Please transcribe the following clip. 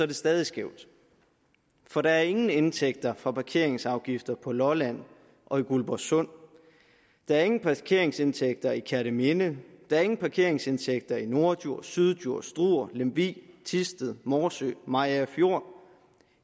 det stadig skævt for der er ingen indtægter fra parkeringsafgifter på lolland og i guldborgsund der er ingen parkeringsindtægter i kerteminde der er ingen parkeringsindtægter i norddjurs syddjurs struer lemvig thisted morsø mariagerfjord